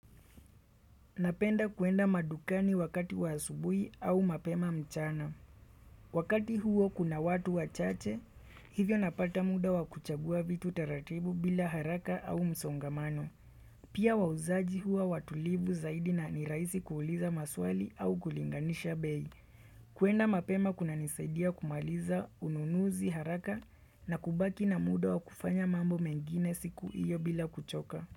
Napenda kuenda madukani wakati wa asubui au mapema mchana. Wakati huo kuna watu wachache, hivyo napata muda wa kuchagua vitu taratibu bila haraka au msongamano. Pia wauzaji hua watulivu zaidi na ni rahisi kuuliza maswali au kulinganisha bei. Kuenda mapema kuna nisaidia kumaliza ununuzi haraka na kubaki na muda wa kufanya mambo mengine siku hiyo bila kuchoka.